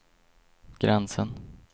gränsen